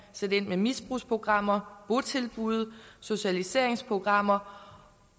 sætte ind med misbrugsprogrammer botilbud socialiseringsprogrammer